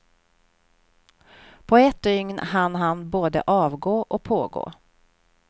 På ett dygn hann han både avgå och pågå.